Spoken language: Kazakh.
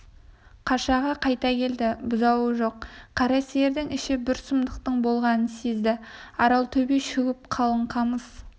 қашаға қайта келді бұзауы жоқ қара сиырдың іші бір сұмдықтың болғанын сезді арал-төбе шөгіп қалың қамыс